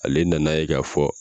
Ale nan'a ye k'a fɔ